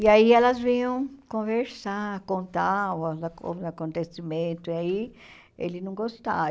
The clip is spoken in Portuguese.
E aí elas vinham conversar, contar os acon os acontecimento, e aí ele não gostava.